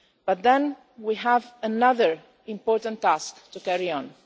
But then we have another important task to carry out.